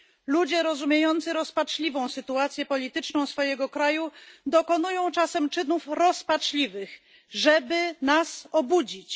Ludzie rozumiejący rozpaczliwą sytuację polityczną swojego kraju dokonują czasem czynów rozpaczliwych, żeby nas obudzić.